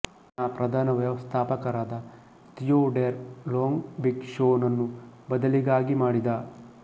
ನ ಪ್ರಧಾನ ವ್ಯವಸ್ಥಾಪಕರಾದ ತಿಯೊಡೇರ್ ಲೋಂಗ್ ಬಿಗ್ ಶೊ ನನ್ನು ಬದಲಿಗಾಗಿ ಮಾಡಿದ